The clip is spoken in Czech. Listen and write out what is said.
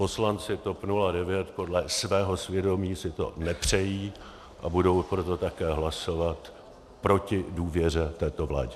Poslanci TOP 09 podle svého svědomí si to nepřejí a budou proto také hlasovat proti důvěře této vládě.